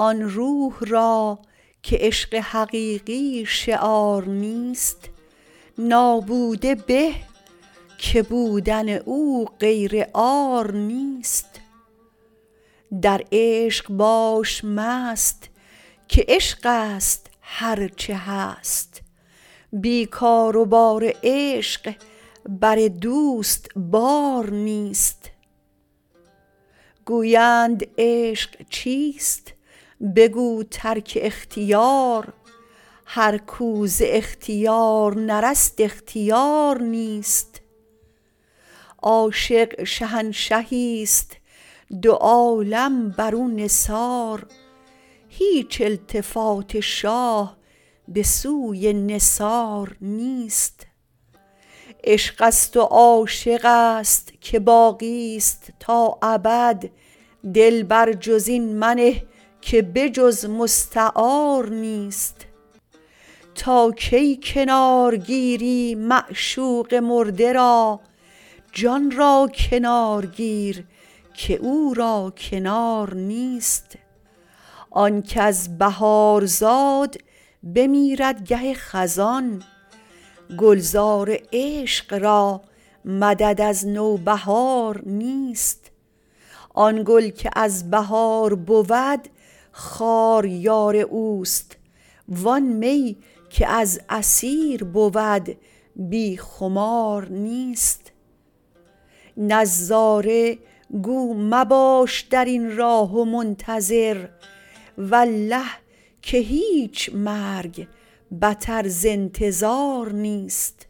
آن روح را که عشق حقیقی شعار نیست نابوده به که بودن او غیر عار نیست در عشق باش مست که عشقست هر چه هست بی کار و بار عشق بر دوست بار نیست گویند عشق چیست بگو ترک اختیار هر کو ز اختیار نرست اختیار نیست عاشق شهنشهیست دو عالم بر او نثار هیچ التفات شاه به سوی نثار نیست عشقست و عاشقست که باقیست تا ابد دل بر جز این منه که به جز مستعار نیست تا کی کنار گیری معشوق مرده را جان را کنار گیر که او را کنار نیست آن کز بهار زاد بمیرد گه خزان گلزار عشق را مدد از نوبهار نیست آن گل که از بهار بود خار یار اوست وان می که از عصیر بود بی خمار نیست نظاره گو مباش در این راه و منتظر والله که هیچ مرگ بتر ز انتظار نیست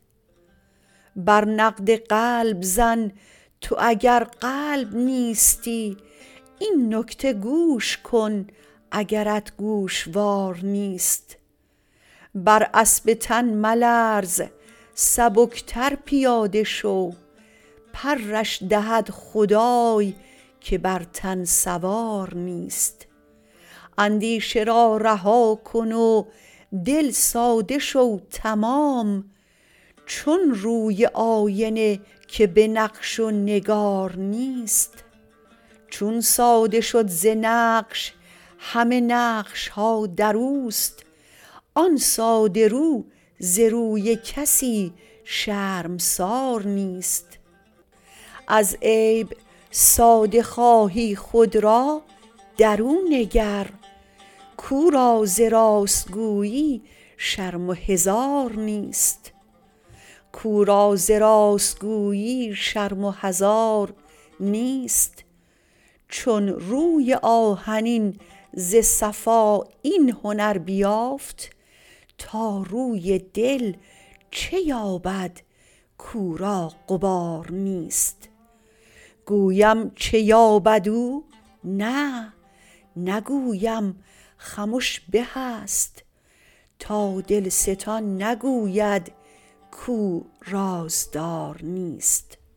بر نقد قلب زن تو اگر قلب نیستی این نکته گوش کن اگرت گوشوار نیست بر اسب تن ملرز سبکتر پیاده شو پرش دهد خدای که بر تن سوار نیست اندیشه را رها کن و دل ساده شو تمام چون روی آینه که به نقش و نگار نیست چون ساده شد ز نقش همه نقش ها در اوست آن ساده رو ز روی کسی شرمسار نیست از عیب ساده خواهی خود را در او نگر کو را ز راست گویی شرم و حذار نیست چون روی آهنین ز صفا این هنر بیافت تا روی دل چه یابد کو را غبار نیست گویم چه یابد او نه نگویم خمش به است تا دلستان نگوید کو رازدار نیست